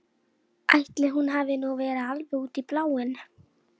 Hún skildi það að minnsta kosti þannig.